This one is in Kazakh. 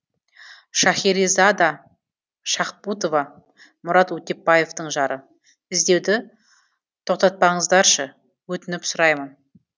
шахаризада шахбутова мұрат өтепбаевтың жары іздеуді тоқтатпаңыздаршы өтініп сұраймын